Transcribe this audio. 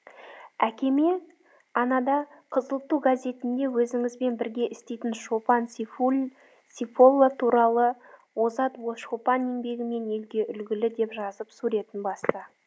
әкеме анада қызыл ту газетінде өзіңізбен бірге істейтін шопан сейфолла туралы озат шопан еңбегімен елге үлгілі деп жазып суретін басты